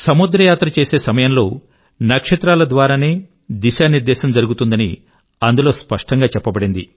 సముద్ర యాత్ర చేసే సమయం లో నక్షత్రాల ద్వారానే దిశానిర్దేశం జరుగుతుందని అందులో స్పష్టం గా చెప్పబడింది